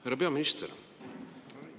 Härra peaminister!